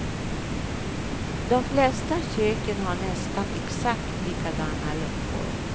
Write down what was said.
De flesta köken har nästan exakt likadana luckor.